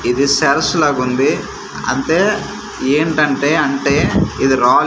ఇది సెల్స్ లాగుంది అంతే ఏంటంటే అంటే ఇది రా--